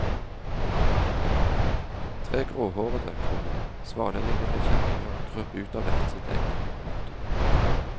Tre gråhårete, komma svanelignende kjerringer krøp ut av hvert sitt egg. punktum